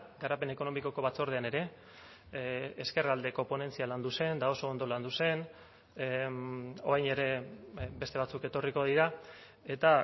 garapen ekonomikoko batzordean ere ezkerraldeko ponentzia landu zen eta oso ondo landu zen orain ere beste batzuk etorriko dira eta